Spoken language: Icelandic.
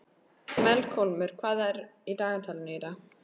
Melkólmur, hvað er í dagatalinu í dag?